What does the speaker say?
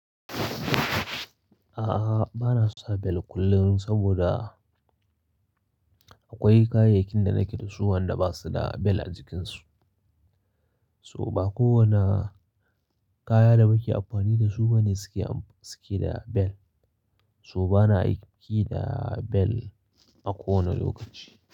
A'a, bana sa bel kullum saboda akwai kayayyakin da nake da su wanda ba su da bel a jikinsu. So ba kowane kaya da muke amfani da su ba ne suke, suke da bel. So bana aiki da bel a kowane lokaci.